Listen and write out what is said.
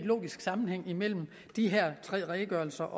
logisk sammenhæng imellem de her tre redegørelser